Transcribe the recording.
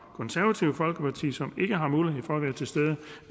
konservative folkeparti som